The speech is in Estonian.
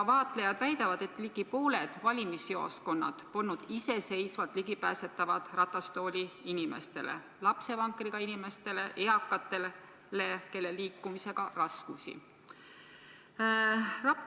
Vaatlejad väidavad, et ligi pooled valimisjaoskonnad polnud iseseisvalt ligipääsetavad ratastooliinimestele, lapsevankriga inimestele, eakatele, kellel on liikumisega raskusi.